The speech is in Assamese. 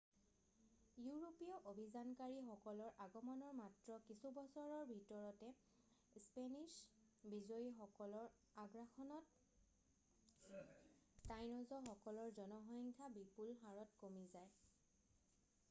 ইউৰোপীয় অভিযানকাৰীসকলৰ আগমণৰ মাত্ৰ কিছু বছৰৰ ভিতৰতে স্পেনিশ্ব বিজয়ী সকলৰ আগ্ৰাসনত টাইন'জসকলৰ জনসংখ্যা বিপুল হাৰত কমি যায়